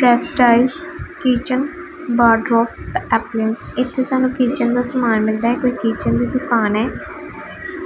best styles kitchen wardrobes appearance ਇੱਥੇ ਸਾਨੂੰ kitchen ਦਾ ਸਮਾਨ ਮਿਲਦਾ ਹੈ ਇਹ ਕੋਈ ਕਿਚਨ ਦੀ ਦੁਕਾਨ ਏ